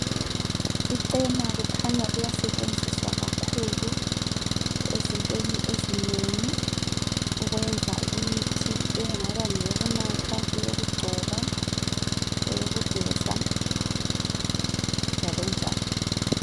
Icena kukhanya liyasetshenziswa kakhulu ezintweni ezinengi ukwenza imithi engaba ngeyokunatha, eyokugcoba, eyokugeza , njalonjalo